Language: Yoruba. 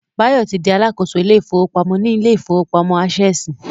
Báyọ̀ ti di Alákóso ilé ìfowópamọ́ ní ilé ìfowópamọ́ Ásẹ̀sì